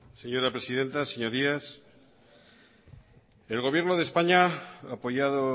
señora presidenta señorías el gobierno de españa apoyado